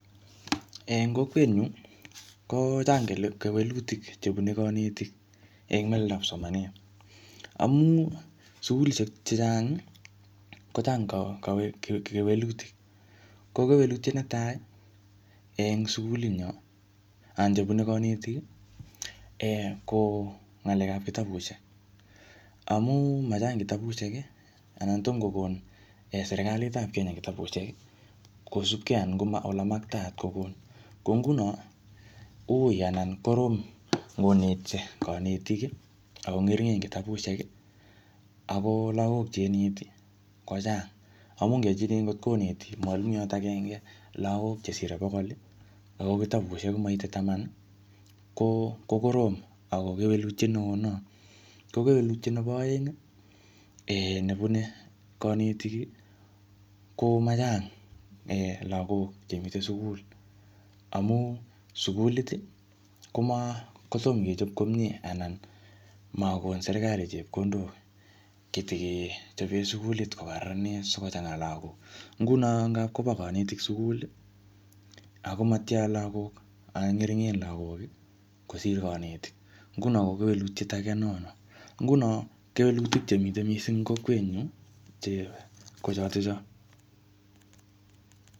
Eng kokwet nyu, kochang kewelutik chebune kanetik eng meleldab somanet. Amu sukulishek chechang, kochang kewelutik. Ko kewelutiet netai eng sukulit nyo, anan chebune kanetik, ko ng'alek ap kitabusiek. Amu machang kitabusiek, anan tomkokon serikalit ap Kenya kitabusiek, kosupkei anan koma ole maktaat kobun. Ko nguno, ui anan korom konetisie kanetik, ako ngeringen kitabusiek, ako lagok che ineti kochang. Amu ngechikil ngotkoneti mwalimuiyot agenge lagok chesire bokol, ako kitabusiek komaite taman, ko-ko korom ako kewelutiet neooo nea. Ko kewelutiet nebo aeng um, nebune kanetik, ko machang lagok che mitei sukul. Amu sukulit, koma-kotom kechop komyee, anan makon serikali chepkondok chetikechope sukulit kokararanit sikochanga lagok. Nguno ngapkoba kanetik sukul, akomatyaa lagok, anan ngeringen lagok kosir kanetik. Nguno ko kewelutiet age ne oo no. Nguno kewelutik chemite missing ing kokwet nyu, che ko chotocho.